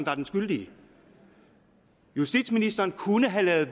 er den skyldige justitsministeren kunne have ladet